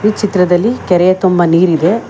ಈ ಚಿತ್ರದಲ್ಲಿ ಕೆರೆಯ ತುಂಬಾ ನೀರಿದೆ.